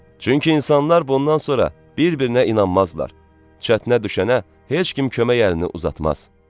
Çünki insanlar bundan sonra bir-birinə inanmazlar, çətinə düşənə heç kim kömək əlini uzatmaz.